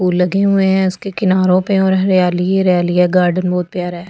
फूल लगे हुए हैं उसके किनारो पे और हरियाली ही हरियाली है गार्डन बहुत प्यार है।